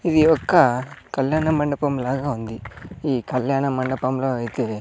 ఇది ఒక్క కళ్యాణమండపం లాగా ఉంది ఈ కళ్యాణ మండపంలో అయితే--